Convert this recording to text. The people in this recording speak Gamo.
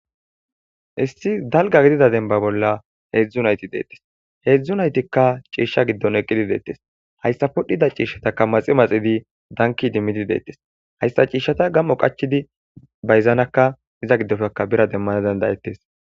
issi dalgga gidida denbba bolla heedzdzu nayti deettes. heedzdzu naytikka ciisha giddon eqqidi deettes. hayssa podhdhida ciishshataka maxi maxidi danki dimmidi deettes. hayssa ciishshata gam'o qachidi bayzanakka iza giddofekka bira demmana dandayettes.